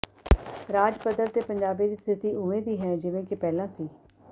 ਰਾਜ ਪੱਧਰ ਤੇ ਪੰਜਾਬੀ ਦੀ ਸਥਿਤੀ ਉਵੇਂ ਦੀ ਹੈ ਜਿਵੇਂ ਕਿ ਪਹਿਲਾਂ ਸੀ